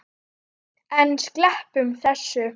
En sleppum þessu!